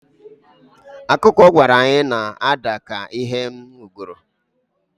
Akụkọ ọ gwara anyị na-ada ka Ihe m nugoro